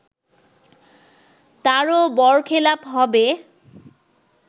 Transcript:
তারও বরখেলাপ হবে